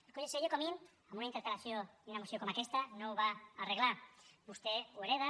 el conseller comín en una interpel·lació i una moció com aquesta no ho va arreglar vostè ho hereta